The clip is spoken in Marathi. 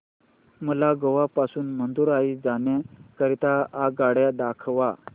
मला गोवा पासून मदुरई जाण्या करीता आगगाड्या दाखवा